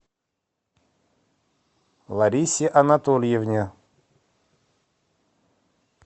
ларисе анатольевне